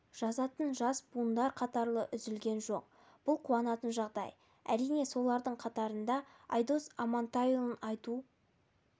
жазатын жас буындар қатары үзілген жоқ бұл қуанатын жағдай әрине солардың қатарында айдос амантайұлын айту